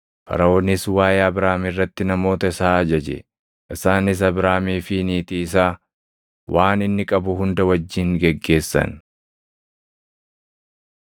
Faraʼoonis waaʼee Abraam irratti namoota isaa ajaje; isaanis Abraamii fi niitii isaa, waan inni qabu hunda wajjin geggeessan.